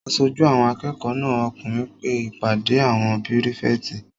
Aṣojú àwọn akẹ́kọ̀ọ́ náà okùnrin pe ìpàdé àwọn pírífẹ̀tì